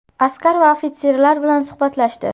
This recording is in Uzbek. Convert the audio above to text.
Askar va ofitserlar bilan suhbatlashdi.